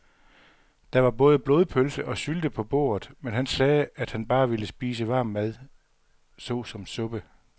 Der var både blodpølse og sylte på bordet, men han sagde, at han bare ville spise varm mad såsom suppe.